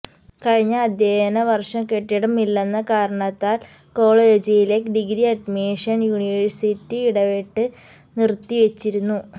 കഴിഞ്ഞ അധ്യയന വര്ഷം കെട്ടിടം ഇല്ലെന്ന കാരണത്താല് കോളേജിലെ ഡിഗ്രി അഡ്മിഷന് യൂണിവേഴ്സിറ്റി ഇടപെട്ട് നിറുത്തി വച്ചിരുന്നു